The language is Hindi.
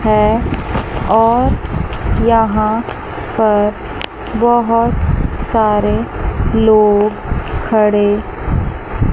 हैं और यहां पर बहोत सारे लोग खड़े--